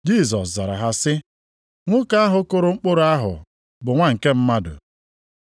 Jisọs zara ha sị, “Nwoke ahụ kụrụ mkpụrụ ahụ bụ Nwa nke Mmadụ.